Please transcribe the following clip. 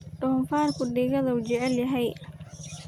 Donfarku dhiigadha ujeclhy.